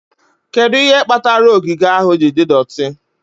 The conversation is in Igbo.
Kedu ihe kpatara ogige ahụ ji dị doti?